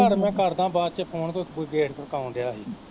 ਚੱਲ ਮੈਂ ਕਰਦਾ ਬਾਅਦ ਚ ਫੋਨ ਕੋਈ, ਕੋਈ ਗੇਟ ਖੜਕਾਉਣ ਦਿਆਂ ਹੀ।